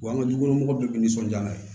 Wa an ka dukɔnɔmɔgɔw dɔ bɛ nisɔndiya n'a ye